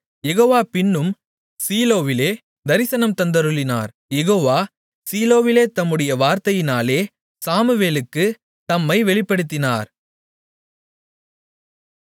யெகோவா பின்னும் சீலோவிலே தரிசனம் தந்தருளினார் யெகோவா சீலோவிலே தம்முடைய வார்த்தையினாலே சாமுவேலுக்குத் தம்மை வெளிப்படுத்தினார்